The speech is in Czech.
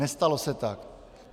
Nestalo se tak.